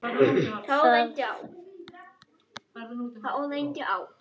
Það þætti mér vænt um